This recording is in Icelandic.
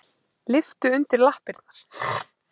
Lyftu undir lappirnar.